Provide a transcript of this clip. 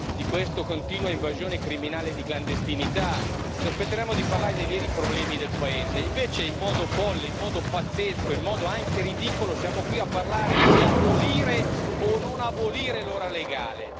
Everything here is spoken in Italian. di questa continua invasione criminale di clandestinità. Ci aspetteremmo di parlare dei veri problemi del paese, e invece in modo folle, in modo pazzesco, in modo anche ridicolo siamo qui a parlare se abolire o non abolire l'ora legale.